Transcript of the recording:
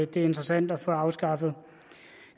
det er interessant at få afskaffet